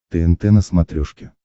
тнт на смотрешке